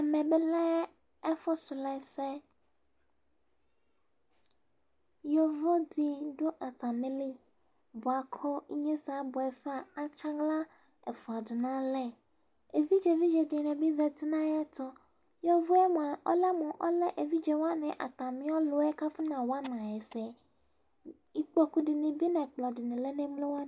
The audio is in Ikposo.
Ɛmɛ bi lɛ ɛfu srɔ ɛsɛ yovo didu atamili buaku ɛsɛ abuɛ va atsi aɣla ɛfua du nalɛ evidze tiŋa dini bi zati nu ayɛtu yovo mua ɔlɛ mu ɔliɛ afɔnawa evidze wani ɛsɛ lafa ikpoku nu ɛkpɔdini lɛ nu ɛɣlo wani tu